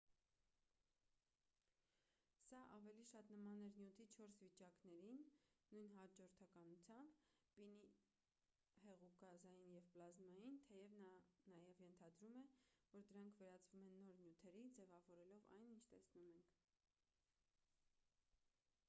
սա ավելի շատ նման էր նյութի չորս վիճակներին նույն հաջորդականությամբ` պինդ հեղուկ գազային և պլազմային թեև նա նաև ենթադրում է որ դրանք վերածվում են նոր նյութերի` ձևավորելով այն ինչ տեսնում ենք: